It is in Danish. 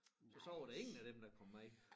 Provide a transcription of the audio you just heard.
Og så var der ingen af dem der kom med